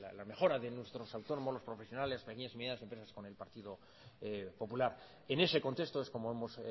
la mejora de nuestros autónomos los profesionales pequeñas y medianas empresas con el partido popular en ese contexto es como hemos